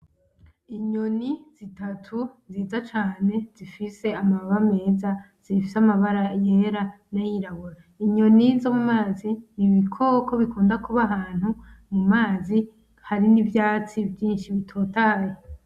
Inyoni zitatu nziza cane zifise amababa meza zifise amabara yera nayirabura, inyoni zo mumazi. Nibikoko bikunda kuba ahantu mu mazi hari nivyatsi vyinshi bitotaye.